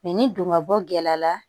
ni don ka bɔ gɛlɛya la